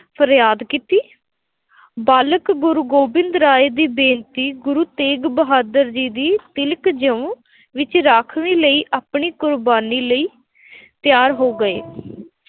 ਫਰਿਆਦ ਕੀਤੀ। ਬਾਲਕ ਗੁਰੂ ਗੋਬਿੰਦ ਰਾਏ ਦੀ ਬੇਨਤੀ, ਗੁਰੂ ਤੇਗ ਬਹਾਦਰ ਜੀ ਦੀ ਤਿਲਕ-ਜਿਉਂ ਵਿੱਚ ਰਾਖਵੀਂ ਲਈ ਆਪਣੀ ਕੁਰਬਾਨੀ ਲਈ ਤਿਆਰ ਹੋ ਗਏ।